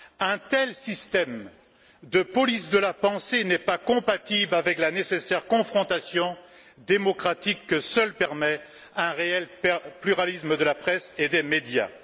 Un tel système de police de la pensée n'est pas compatible avec la nécessaire confrontation démocratique que seul permet un réel pluralisme de la presse et des médias.